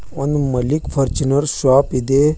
ಒಂದು Malik Fortuner shop ಇದೆ.